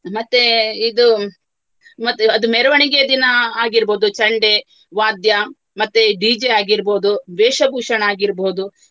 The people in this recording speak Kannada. ಮತ್ತೇ ಇದು ಮತ್ತೆ ಅದು ಮೆರವಣಿಗೆ ದಿನ ಆಗಿರ್ಬಹುದು ಚಂಡೆ ವಾದ್ಯ ಮತ್ತೆ DJ ಆಗಿರ್ಬಹುದು ವೇಷಭೂಷಣ ಆಗಿರ್ಬಹುದು.